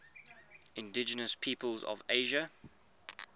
indigenous peoples of asia